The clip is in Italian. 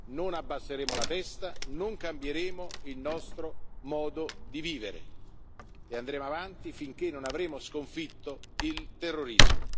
Non abbasseremo la testa, né cambieremo il modo di vivere e andremo avanti finché non avremo sconfitto il terrorismo.